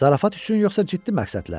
Zarafat üçün, yoxsa ciddi məqsədlə?